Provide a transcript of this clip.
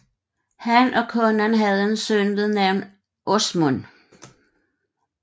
Han og konen havde en søn ved navn Åsmund